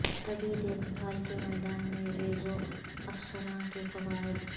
طبی دیکھ بھال کے میدان میں ریزرو افسران کے فوائد